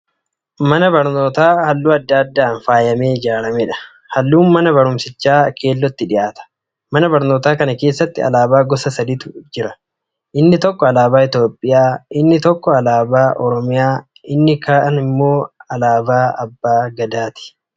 Mana barnootaa Halluu adda addaan faayamtee ijaaramedha. Halluun man barumsichaa keellootti dhiyaata. Mana barnootaa kana keessatti alaabaa gosa saditu dhaabbatee jira. Inni tokko alaabaa Itoophiyaa yeroo ta'u kan hafan lamaan immoo kan naannoo Oromiyaa fi kan abbaa gadaati.